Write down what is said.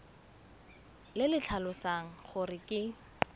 le le tlhalosang gore ke